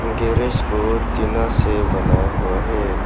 Garage को टीना से बनाया हुआ है।